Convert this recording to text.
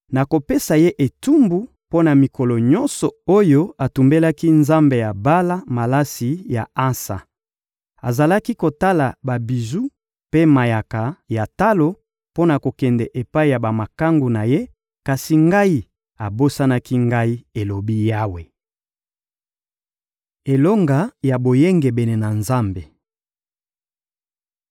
Nakopesa ye etumbu mpo na mikolo nyonso oyo atumbelaki nzambe ya Bala malasi ya ansa. Azalaki kolata babiju mpe mayaka ya talo mpo na kokende epai ya bamakangu na ye; kasi ngai, abosanaki Ngai, elobi Yawe. Elonga ya boyengebene na Nzambe